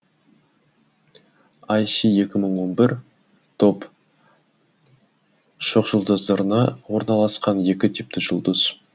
айси екі мың он бір тор шоқжұлдызында орналасқан екі типті жұлдыз